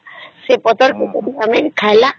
ସେଇ ପତ୍ର ତାକେ ବି ଖାଇଲା